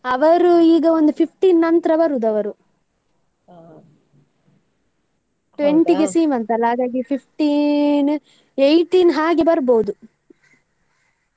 ಅವರು ಈಗ ಒಂದ್ fifteen ನಂತ್ರ ಬರುದು ಅವರು, twenty ಗೆ ಸೀಮಂತ ಅಲ್ಲ ಹಾಗಾಗಿ fifteen eighteen ಹಾಗೆ ಬರ್ಬೋದು.